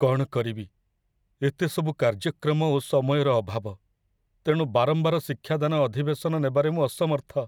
କ'ଣ କରିବି, ଏତେସବୁ କାର୍ଯ୍ୟକ୍ରମ ଓ ସମୟର ଅଭାବ, ତେଣୁ ବାରମ୍ବାର ଶିକ୍ଷାଦାନ ଅଧିବେଶନ ନେବାରେ ମୁଁ ଅସମର୍ଥ।